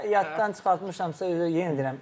Kimisə yaddan çıxartmışamsa yenə deyirəm.